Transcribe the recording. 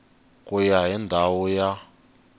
ku ya hi ndhawu ya